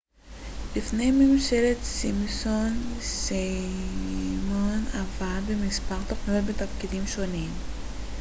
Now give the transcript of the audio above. לפני משפחת סימפסון סיימון עבד במספר תכניות בתפקידים שונים